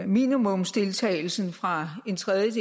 minimumsdeltagelsen fra